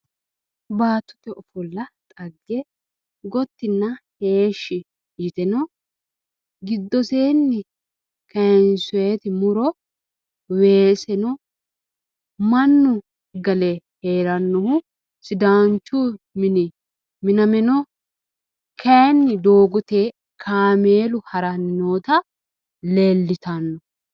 Baattote ofolla xagge gotinna heeshshi yitino giddoseenni kaayinsooyiti muro weese no mannu gale heerannohu Sidaanchu mini miname no kaayiini doogote kaameelu harani noota leelitano